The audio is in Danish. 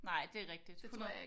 Nej det er rigtigt 100